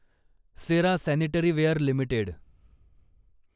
Cera sanitaryware limited